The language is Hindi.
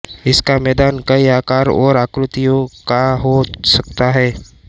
इसका मैदान कई आकार और आकृतियों का हो सकता है